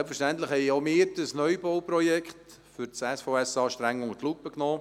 Selbstverständlich haben auch wir dieses Neubauprojekt für das SVSA streng unter die Lupe genommen.